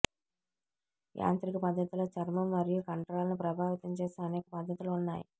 యాంత్రిక పద్ధతిలో చర్మం మరియు కండరాలను ప్రభావితం చేసే అనేక పద్ధతులు ఉన్నాయి